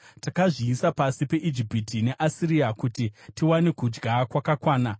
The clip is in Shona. Takazviisa pasi peIjipiti neAsiria, kuti tiwane chingwa chakakwana.